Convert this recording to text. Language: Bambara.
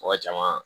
Mɔgɔ caman